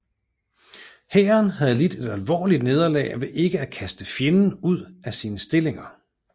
Hæren havde lidt et alvorligt nederlag ved ikke at kaste fjenden ud af sine stillinger